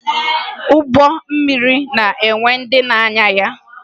Ụgbọ mmiri na-enwe ndị na-anya ya